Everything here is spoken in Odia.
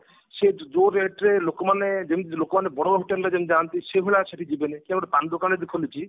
ସେ ଯୋଉ rate ରେ ଲୋକମାନେ ଯେମତି ଲୋକମାନେ ବଡ ବଡ ହୋଟେଲ ରେ ଯେମତି ଯାଆନ୍ତି ସେଇଭଳି ଆଉ ସେଠିକି ଯିବେନି କି ଯଦି ପାନ ଦୋକାନ ଗୋଟେ ଖୋଲିଛି